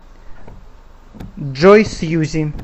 джой сьюзи